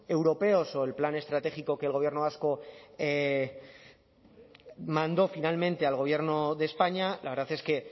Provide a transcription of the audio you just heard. europeos o el plan estratégico que el gobierno vasco mandó finalmente al gobierno de españa la verdad es que